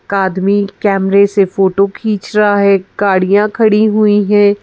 आदमी कैमरे से फोटो खींच रहा है गाड़ियाँ खड़ी हुई हैं।